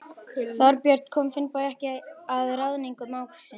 Þorbjörn: Kom Finnbogi ekki að ráðningu mágs síns?